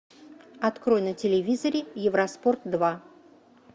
открой на телевизоре евроспорт два